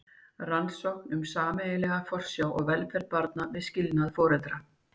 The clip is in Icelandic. Rannsókn um sameiginlega forsjá og velferð barna við skilnað foreldra.